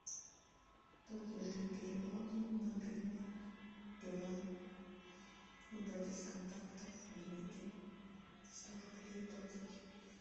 платежи и переводы мобильный билайн выбрать из контактов дмитрий сто рублей оплатить